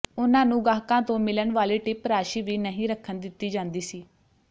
ਉਨ੍ਹਾਂ ਨੂੰ ਗਾਹਕਾਂ ਤੋਂ ਮਿਲਣ ਵਾਲੀ ਟਿਪ ਰਾਸ਼ੀ ਵੀ ਨਹੀਂ ਰੱਖਣ ਦਿੱਤੀ ਜਾਂਦੀ ਸੀ